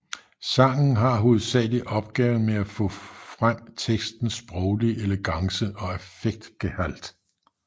Sangen har hovedsagelig opgaven med at få frem tekstens sproglige elegance og affektgehalt